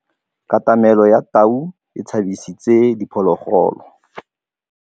Katamêlô ya tau e tshabisitse diphôlôgôlô.